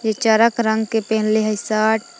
ई चरक रंग के पेन्हले हइ सट --